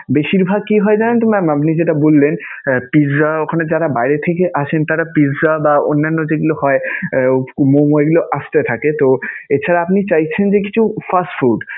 বেশীর ভাগ কি হয় জানেন তো mam আপনি যেটা বললেন, pizza ওখানে যারা বাইরে থেকে আসেন তাঁরা pizza বা অন্যান্য যেগুলা হয় momo এগুলো আসতে থাকে. তো এছাড়া আপনি চাইছেন যে কিছু fast food